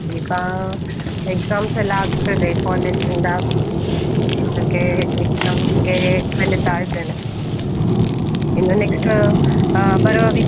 ಈಗಾ exams ಎಲ್ಲ ಆಗ್ತಾದೆ college ಇಂದ, ಹಾಗೇ exams ಗೆ ಕಲಿತಾ ಇದ್ದೇನೆ, ಇನ್ನು next ಆ ಬರುವ week .